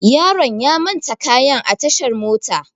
Yaron ya manta kayan a tashar mota.